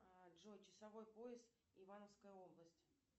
джой часовой пояс ивановская область